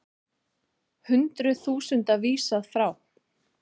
Hundruð þúsunda vísað frá